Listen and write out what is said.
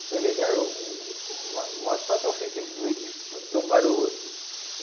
E pelejaram umas umas quatro ou foi cinco vez de de um para o outro.